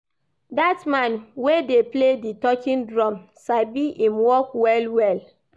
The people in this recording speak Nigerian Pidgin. Dat man wey dey play di talking drum sabi im work well-well.